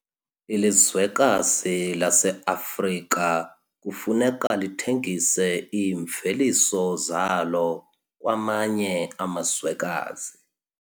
Ilizwekazi laseAfrika kufuneka lithengise iimveliso zalo kwamanye amazwekazi.